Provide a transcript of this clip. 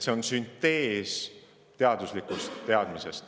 See on süntees teaduslikust teadmisest.